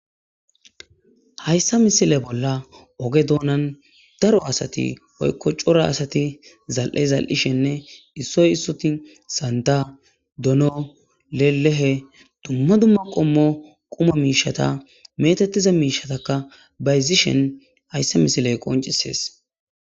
Hayssa misile bolla oge doonan daro asati oykko cora asati zal'e zal'ishenne issoy issuti santa dono lelehe dumma dumma qommo quma miishata metettiza miishatakka bayzishen hayssa misiley qoncisees.